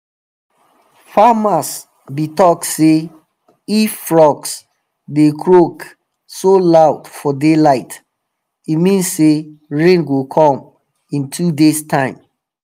farmers be talk say if frogs dey croak so loud for daylight e mean say rain go come in two days time.